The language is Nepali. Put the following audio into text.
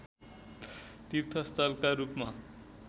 तीर्थस्थलका रूपमा